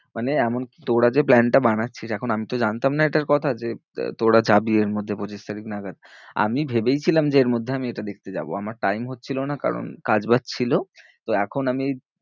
মানে এমনকি তোরা যে plan টা বানাচ্ছিস, এখন আমি তো জানতাম না এটার কথা যে আহ তোরা যাবি এর মধ্যে পঁচিশ তারিখ নাগাদ আমি ভেবেই ছিলাম যে এর মধ্যে এটা আমি দেখতে যাবো আমার time হচ্ছিলো না, কারণ কাজ বাজ ছিল তো এখন আমি ওই